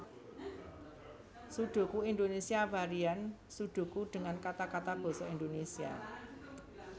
Sudoku Indonesia Varian Sudoku dengan kata kata Basa Indonesia